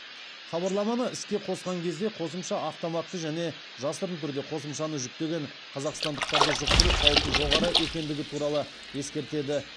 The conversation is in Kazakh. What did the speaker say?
хабарламаны іске қосқан кезде қосымша автоматты және жасырын түрде қосымшаны жүктеген қазақстандықтарды жұқтыру қаупі жоғары екендігі туралы ескертеді